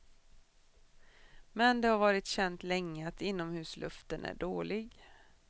Men det har varit känt länge att inomhusluften är dålig.